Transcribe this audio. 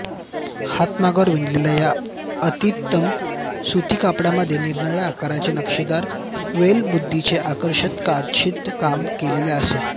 हातमागावर विणलेल्या या अतितलम सुतीकापडामध्ये निरनिराळ्या आकारांचे नक्षीदार वेलबुट्टीचे आकर्षक कशिदाकाम केलेले असे